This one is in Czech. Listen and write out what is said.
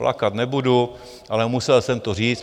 Plakat nebudu, ale musel jsem to říct.